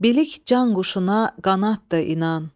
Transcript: Bilik can quşuna qanaddır inan.